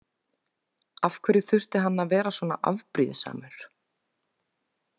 Af hverju þurfti hann að vera svona afbrýðisamur?